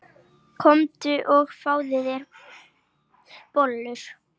Komdu og fáðu þér bollur.